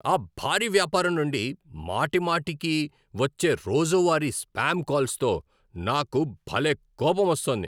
ఆ భారీ వ్యాపారం నుండి మాటిమాటికీ వచ్చే రోజువారీ స్పామ్ కాల్స్తో నాకు భలే కోపమోస్తోంది.